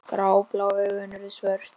Gráblá augun urðu svört.